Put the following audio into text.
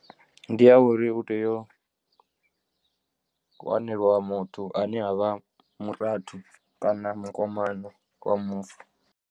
Ndi ya uri u tea u wanelwa muthu ane a vha murathu kana mukomana wa mufu.